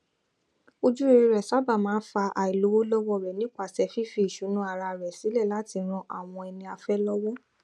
ojúrere rẹ sábà máa n fa àìlówólọwọ rẹ nípasẹ fífi ìṣúná ara rẹ sílẹ láti ran àwọn ẹniafẹ lọwọ